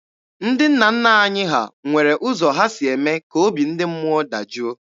Ndị nna nna anyị ha nwere ụzọ ha si eme ka obi ndị mmụọ dajụọ.